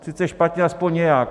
Sice špatně, alespoň nějak.